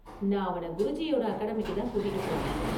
நான் அவன குருஜியோட அகாடமிக்கு தான் கூட்டிட்டு போனேன்.